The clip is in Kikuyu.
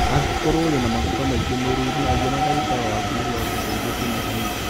Angĩkorũo ũrĩ na maguta maingĩ mwĩrĩ-inĩ ,aria na ndagĩtarĩ waku nĩguo agũteithie kũnyihanyihia.